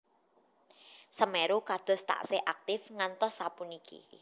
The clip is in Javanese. Semeru kados tasih aktif mgantos sapuniki